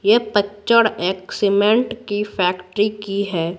ये पिक्चर एक सीमेंट की फैक्ट्री की है।